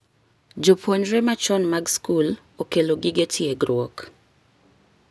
Jopuonjre machon mag skul okelo gige tiegruok.